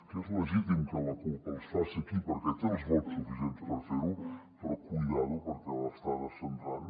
que és legítim que la cup els faci aquí perquè té els vots suficients per fer ho però compte perquè l’està descentrant